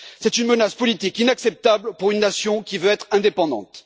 C'est une menace politique inacceptable pour une nation qui veut être indépendante.